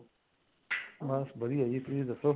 ਬੱਸ ਵਧੀਆ ਜੀ ਤੁਸੀਂ ਦੱਸੋ